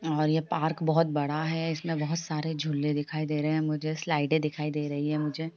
और ये पार्क बहोत बड़ा हैं इसमें बहुत सारे झूले दिखाई दे रहे है मुझे स्लाइडें दिखाई दे रही है मुझे --